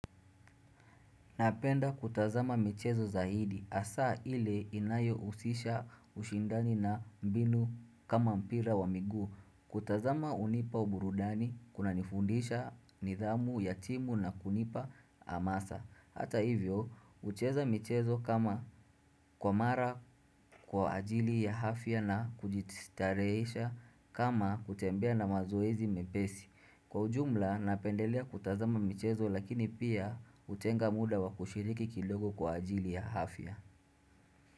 Napenda kutazama michezo zaidi. Hasa ile inayohusisha ushindani na mbinu kama mpira wa miguu. Kutazama hunipa uburudani, kunanifundisha, nidhamu ya timu na kunipa hamasa. Hata hivyo, kucheza michezo kama kwa mara kwa ajili ya afya na kujistarehesha kama kutembea na mazoezi mepesi. Kwa ujumla napendelea kutazama michezo lakini pia hutenga muda wa kushiriki kidogo kwa ajili ya afya.